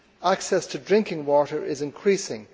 Access to drinking water is increasing.